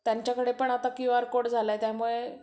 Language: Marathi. त्यांच्याकडे पण आता क्यूआर कोड झालाय , त्याच्यामुळे